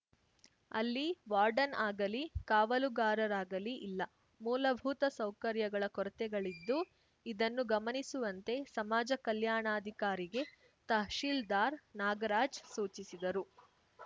ಅಲ್ಲಿ ವಾರ್ಡಾನ್‌ ಆಗಲಿ ಕಾವಲುಗಾರರಾಗಲಿ ಇಲ್ಲ ಮೂಲಭೂತ ಸೌಲಭ್ಯಗಳ ಕೊರತೆಗಳಿದ್ದು ಇದನ್ನು ಗಮನಿಸುವಂತೆ ಸಮಾಜ ಕಲ್ಯಾಣಾಧಿಕಾರಿಗೆ ತಹಶಿಲ್ದಾರ್‌ ನಾಗರಾಜ್‌ ಸೂಚಿಸಿದರು